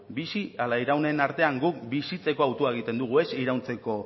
bizi ala iraunen artean guk bizitzeko hautua egiten dugu ez irauntzeko